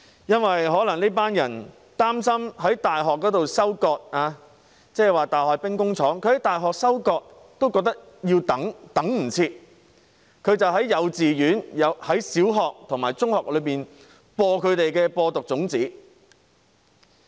這些人把大學當作兵工廠，在大學收割都等不及，於是便在幼稚園、小學和中學裏散播毒種子。